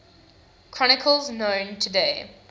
chronicles known today